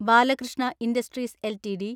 Balakrishna industries LTD